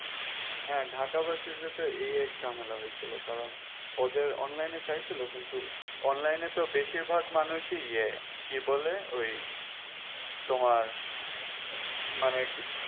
হ্যাঁ ঢাকা versity এই এক ঝামেলা হয়েছিল কারণ ওদের online এ চাইছিল কিনতু online এ তো বেশিরভাগ মানুষই ইয়ে কি বলে ওই তোমার মানে কি